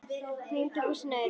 Einhver lamdi húsið að utan.